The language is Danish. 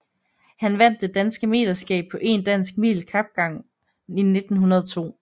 Han vandt det danske meterskab på 1 dansk mil kapgang 1902